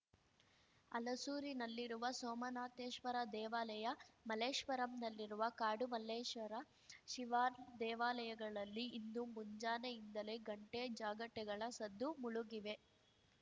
ಹಲಸೂರಿನಲ್ಲಿರುವ ಸೋಮನಾಥೇಶ್ವರ ದೇವಾಲಯ ಮಲ್ಲೇಶ್ವರಂನಲ್ಲಿರುವ ಕಾಡು ಮಲ್ಲೇಶ್ವರ ಶಿವದೇವಾಲಯಗಳಲ್ಲಿ ಇಂದು ಮುಂಜಾನೆಯಿಂದಲೇ ಗಂಟೆ ಜಾಗಟೆಗಳ ಸದ್ದು ಮುಳುಗಿವೆ